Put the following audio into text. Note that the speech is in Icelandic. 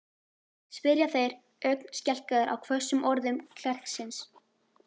spyrja þeir, ögn skelkaðir á hvössum orðum klerksins.